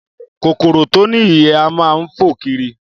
Kòkòrò tó ní ìyẹ́ á máa fò kiri